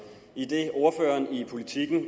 idet ordføreren i politiken